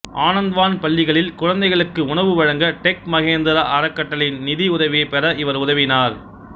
ஆனந்த்வான் பள்ளிகளில் குழந்தைகளுக்கு உணவு வழங்க டெக் மகிந்திரா அறக்கட்டளையின் நிதி உதவியைப் பெற இவர் உதவினார்